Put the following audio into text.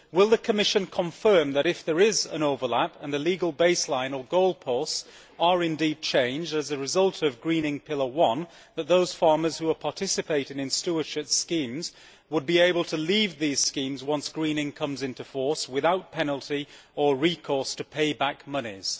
Will the Commission confirm that if there is an overlap, and the legal baseline or goalposts are indeed changed as a result of greening pillar one, those farmers who are participating in stewardship schemes would be able to leave these schemes once greening comes into force without penalty or recourse to pay back monies?